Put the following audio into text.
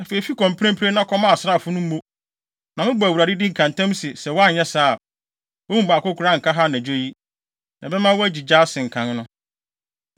Afei, fi kɔ mprempren, na kɔma asraafo no mo, na mebɔ Awurade din, ka ntam se, sɛ woanyɛ saa a, wɔn mu baako koraa nka ha anadwo yi. Na ɛbɛma woagyigya asen kan no.”